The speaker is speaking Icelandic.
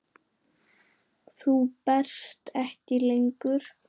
Þú berst ekki lengur.